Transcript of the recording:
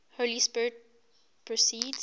holy spirit proceeds